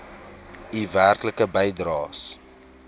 u werklike bydraes